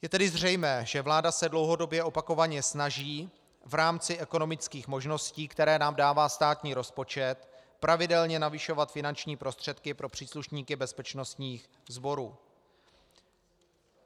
Je tedy zřejmé, že vláda se dlouhodobě opakovaně snaží v rámci ekonomických možností, které nám dává státní rozpočet, pravidelně navyšovat finanční prostředky pro příslušníky bezpečnostních sborů.